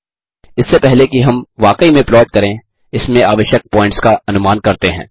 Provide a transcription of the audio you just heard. इससे पहले कि हम वाकई में प्लॉट करें इसमें आवश्यक पॉइंट्स का अनुमान करते हैं